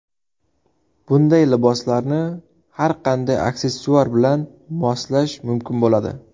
Bunday liboslarni har qanday aksessuar bilan moslash mumkin bo‘ladi.